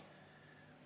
Arvo Aller, palun!